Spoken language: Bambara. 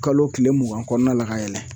Kalo tile mugan kɔɔna la ka yɛlɛn